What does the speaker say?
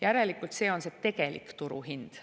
Järelikult see on see tegelik turuhind.